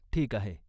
ठीक आहे!